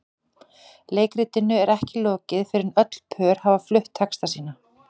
Leikritinu er ekki lokið fyrr en öll pör hafa flutt texta sína.